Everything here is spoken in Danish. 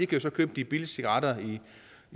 kan købe de billige cigaretter i